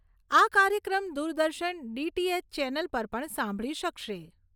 આ કાર્યક્રમ Doordarshan DTH channel પર પણ સાંભળી શકશે.